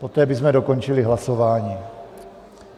Poté bychom dokončili hlasování.